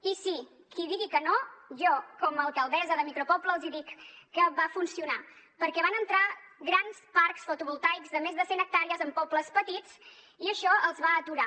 i sí qui digui que no jo com a alcaldessa de micropoble els hi dic que va funcionar perquè van entrar grans parcs fotovoltaics de més de cent hectàrees en pobles petits i això els va aturar